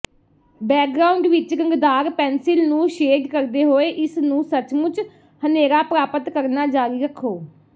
background ਵਿੱਚ ਰੰਗਦਾਰ pencil ਨੂੰ ਸ਼ੇਡ ਕਰਦੇ ਹੋਏ ਇਸਨੂੰ ਸੱਚਮੁੱਚ ਹਨੇਰਾ ਪ੍ਰਾਪਤ ਕਰਨਾ ਜਾਰੀ ਰੱਖੋ